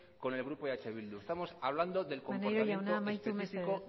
con el grupo eh bildu estamos hablando del comportamiento específico